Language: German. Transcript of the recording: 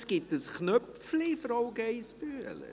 Es gibt einen Knopf für die Anmeldung, Frau Geissbühler.